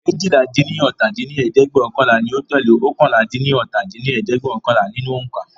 eéjìlá-dín-ní-ọ́ta dín ní ẹ̀ẹ́dẹ́gbẹ́ọ̀kànlá ni ó tẹ́lẹ̀ oókànlá-dín-ní-ọ́ta dín ní ẹ̀ẹ́dẹ́gbẹ́ọ̀kànlá nínú ońká.